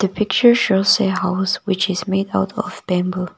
the picture shows a house which is made out of bamboo